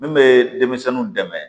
Min bɛ denmisɛnninw dɛmɛ